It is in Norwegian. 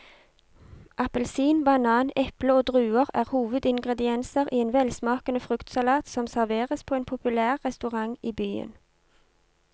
Appelsin, banan, eple og druer er hovedingredienser i en velsmakende fruktsalat som serveres på en populær restaurant i byen.